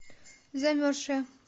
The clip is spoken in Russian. замерзшая